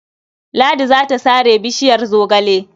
Ladi za ta sare bishiyar zogale..